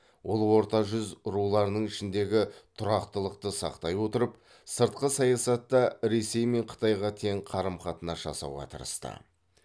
ол орта жүз руларының ішіндегі тұрақтылықты сақтай отырып сыртқы саясатта ресей мен қытайға тең қарым қатынас жасауға тырысты